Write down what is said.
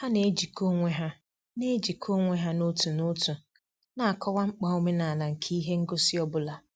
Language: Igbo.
Ha na-ejikọ onwe ha na-ejikọ onwe ha n'otu n'otu na-akọwa mkpa omenala nke ihe ngosi ọ bụla.